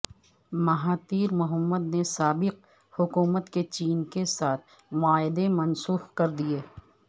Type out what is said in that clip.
Mahathir محمدنے سابق حکومت کے چین کے ساتھ معاہدے منسوخ کر دئیے